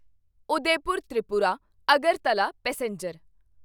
Udaipur Tripura Agartala passenger